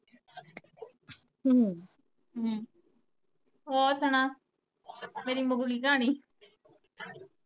ਹਮ ਹੋਰ ਸੁਣਾ ਮੇਰੀ ਮੁਕ ਗਈ ਕਹਾਣੀ